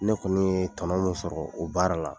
Ne kɔni ye tɔnɔn min sɔrɔ o baara la